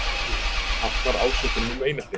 Hafnar ásökunum um einelti